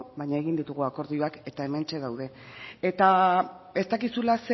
baina egin ditugu akordioak eta hementxe daude eta ez dakizula